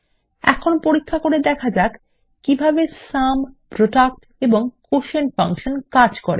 এখন পরীক্ষা করে দেখা যাক কিভাবে সুম প্রোডাক্ট এবং কোটিয়েন্ট ফাংশন কাজ করে